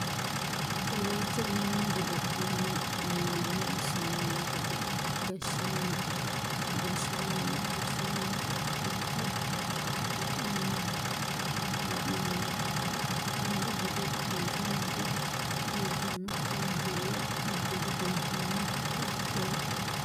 kowiicho mannu godo'lanni millimmo assannni noo gede gashshsaamana gashaanna ikka la'neemmo insa dancha gede biife nooti leeltanno waajjuulle uddire biiffanno koate wodhe